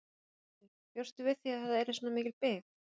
Berghildur: Bjóstu við því að það yrði svona mikil bið?